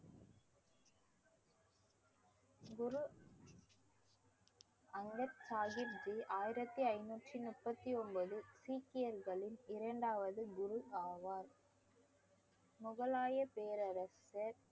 குரு அங்கர் சாஹிப் ஜி ஆயிரத்தி ஐந்நூத்தி முப்பத்தி ஒன்பது சீக்கியர்களின் இரண்டாவது குரு ஆவார் முகலாய பேரரசர்